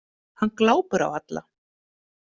Hann glápir á alla.